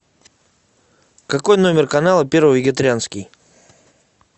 какой номер канала первый вегетарианский